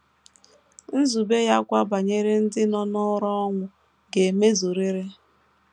Nzube ya kwa banyere ndị nọ n’ụra ọnwụ ga - emezurịrị.